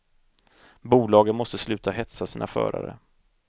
Bolagen måste sluta hetsa sina förare.